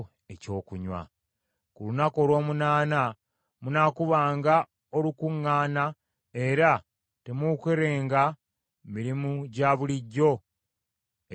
“Ku lunaku olw’omunaana munaakubanga olukuŋŋaana, era temuukolenga mirimu gya bulijjo egy’okukakaalukana.